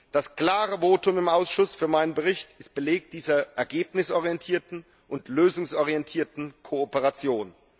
Das klare Votum im Ausschuss für meinen Bericht ist Beleg dieser ergebnisorientierten und lösungsorientierten Kooperation.